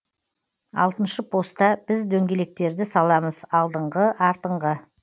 алтыншы поста біз дөңгелектерді саламыз алдыңғы артыңғы